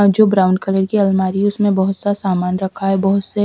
अं जो brown colour की अलमारी उसमें बहुत सा सामान रखा है बहुत से--